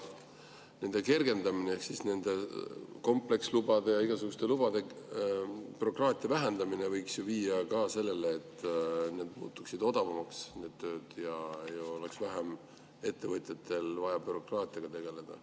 See kergendamine, nende komplekslubade ja igasuguste lubade bürokraatia vähendamine, võiks ju viia ka selleni, et need tööd muutuksid odavamaks ja ettevõtjatel oleks vähem vaja bürokraatiaga tegeleda.